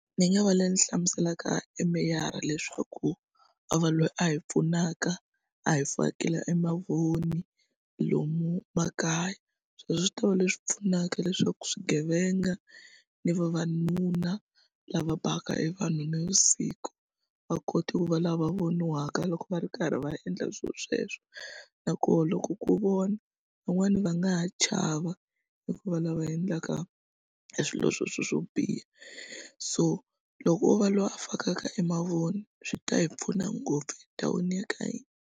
Ni nga va le ni hlamuselaka e meyara leswaku vava loyi a hi pfunaka a hi fakela e mavoni lomu makaya sweswo swi ta va leswi pfunaka leswaku swigevenga ni vavanuna lava baka evanhu navusiku va kota eku va lava voniwaka loko va ri karhi va endla swilo sweswo na koho loko ku vona van'wani va nga ha chava eku va lava endlaka swilo swo biha so loko o va loyi a fakaka e mavoni swi ta hi pfuna ngopfu endhawini ya ka hina.